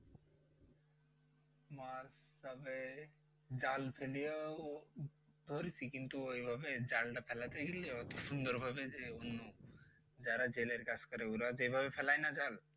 মাছ তবে জাল ফেলিয়া ও ধরছি কিন্তু ওইভাবে জালটা ফেলাতে গিয়ে অত সুন্দরভাবে যে অন্য যারা জেলের কাজ করে ওরা যেভাবে ফেলায় না জাল